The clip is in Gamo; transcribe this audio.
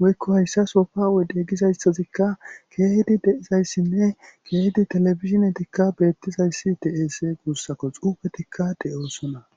woykko hayssa sofa wode gizayssazikka keehidi de7izayssinne keehidi televidzinetikka beettizayssi de7ese guussako xuufetikka de7osona